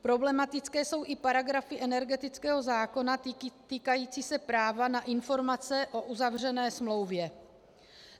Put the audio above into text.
Problematické jsou i paragrafy energetického zákona týkající se práva na informace o uzavřené smlouvě.